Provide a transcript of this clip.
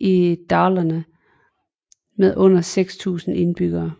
i Dalarna med under 6000 indbyggere